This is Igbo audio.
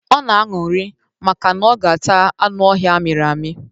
Ọ na-aṅụrị maka na ọ ga ata anụ ọhịa amịrị amị.